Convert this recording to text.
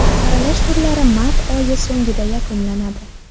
Saralash turlari mart oyi so‘ngida yakunlanadi.